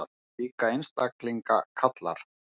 Slíka einstaklinga kallar